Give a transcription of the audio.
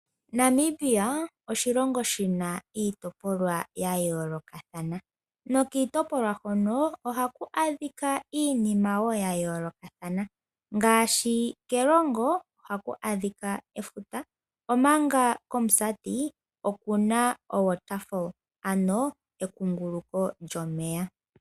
Namibia oshilongo oshina iitopolwa yayoolokathana nokiitopolwa hono ohaku adhika iinima yayoolokathana ngaashi kErongo ohaku adhika efuta. Komusati okuna ekunguluko lyomeya.